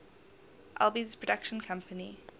alby's production company